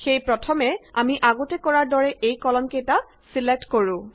সেয়ে প্ৰথমে আমি আগতে কৰাৰ দৰে এই কলম কেইটা ছিলেক্ট কৰো